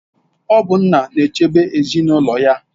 Ọ bụ nna na-echebe ezinụlọ ya.